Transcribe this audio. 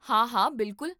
ਹਾਂ ਹਾਂ, ਬਿਲਕੁਲ